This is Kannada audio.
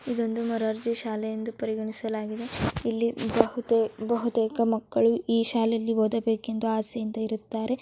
ಇದೊಂದು ಮೊರಾರ್ಜಿ ಶಾಲೆ ಎಂದು ಪರಿಗಣಿಸಲಾಗಿದೆ ಇಲ್ಲಿ ಬಹುತೇ ಬಹುತೇ ಮಕ್ಕಳು ಈ ಶಾಲೆಯಲ್ಲಿ ಓದಬೇಕೆಂದು ಆಸೆಯಿಂದ ಇರುತ್ತಾರೆ.